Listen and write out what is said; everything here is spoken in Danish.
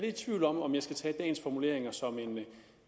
i tvivl om om jeg skal tage dagens formuleringer som